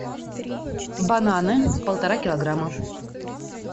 бананы полтора килограмма